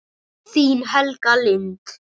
Þín, Helga Lind.